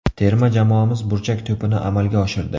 Terma jamoamiz burchak to‘pini amalga oshirdi.